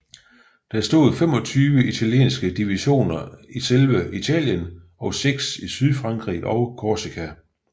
Der stod 25 italienske divisioner i selve Italien og seks i Sydfrankrig og Korsika